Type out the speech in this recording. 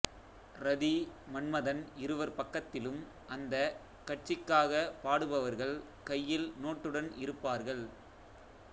ரதி மன்மதன் இருவர் பக்கத்திலும் அந்தக் கட்சிக்காகப் பாடுபவர்கள் கையில் நோட்டுடன் இருப்பார்கள்